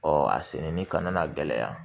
a sɛnɛni kana gɛlɛya